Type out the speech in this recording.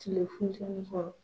Tile funteni kɔrɔ.